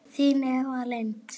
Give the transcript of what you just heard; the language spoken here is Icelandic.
Þín Eva Lind.